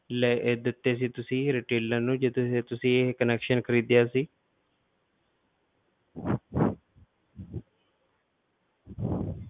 ਲਏ ਦਿੱਤੇ ਸੀ ਤੁਸੀਂ retailer ਨੂੰ ਜਿਹਦੇ ਤੋਂ ਤੁਸੀਂ ਇਹ connection ਖ਼ਰੀਦਿਆ ਸੀ